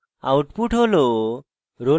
output হল